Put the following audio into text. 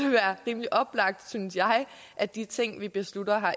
være rimelig oplagt synes jeg at de ting vi beslutter